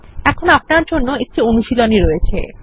এখানে আপনার জন্য একটি অনুশীলনী আছে